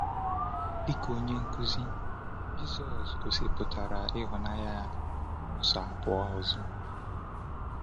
Dịka onye nkuzi, Jisọs gosipụtara ịhụnanya n’ụzọ abụọ ọzọ.